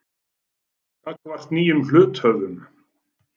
gagnvart nýjum hluthöfum.